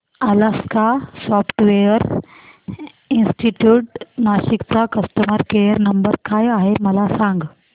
Alaska software institute Nashik चा customer care number काय आहे मला सांग